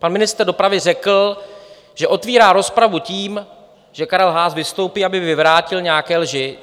Pan ministr dopravy řekl, že otevírá rozpravu tím, že Karel Haas vystoupí, aby vyvrátil nějaké lži.